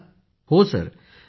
पूनम नौटियालःहांजी सर